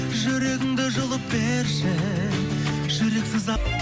жүрегіңді жұлып берші жүрексіз ақ